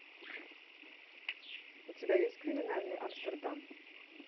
у тебя есть криминальный амстердам